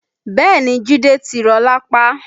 Bẹ́ẹ̀ni Jide ti rọ lápá